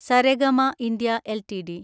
Saregama India LTD